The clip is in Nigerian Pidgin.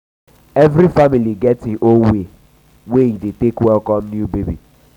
every family get im own way wey e dey take welcome new baby.